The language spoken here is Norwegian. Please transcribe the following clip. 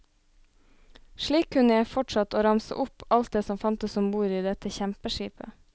Slik kunne jeg fortsatt å ramse opp alt det som fantes ombord i dette kjempeskipet.